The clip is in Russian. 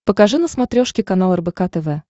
покажи на смотрешке канал рбк тв